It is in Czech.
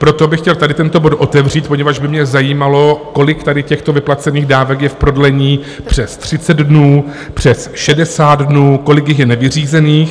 Proto bych chtěl tady tento bod otevřít, poněvadž by mě zajímalo, kolik tady těchto vyplacených dávek je v prodlení přes 30 dnů, přes 60 dnů, kolik jich je nevyřízených.